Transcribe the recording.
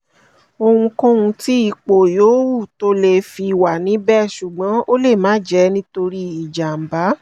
ohunkóhun tí ipò yòówù tó lé fi wà níbẹ̀ ṣùgbọ́n ó lè má jẹ́ nitori ijamba